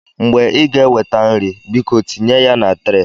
Mgbe ị ga-eweta nri, biko tinye ya na tre.